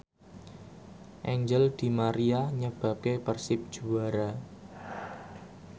Angel di Maria nyebabke Persib juara